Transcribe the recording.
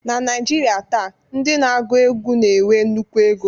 Na Naijiria taa, ndị na-agụ egwu na-enwe nnukwu ego